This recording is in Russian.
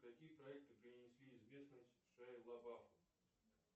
какие проекты принесли известность